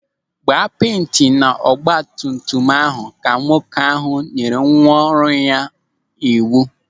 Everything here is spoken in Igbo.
"Gbaa penti na ahụ ọgbatumtum a", Ka nwoke ahụ nyere nwa ọrụ ya n'iwu.